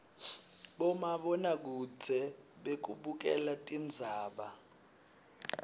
bomabonakudze bekubukela tindzaba